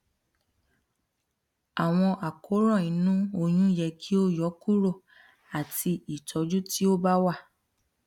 awọn àkóràn inu oyun yẹ ki o yọkuro ati itọju ti o ba wa